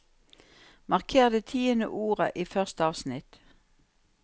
Marker det tiende ordet i første avsnitt